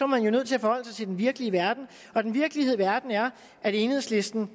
man jo nødt til at forholde sig til den virkelige verden og den virkelige verden er at enhedslisten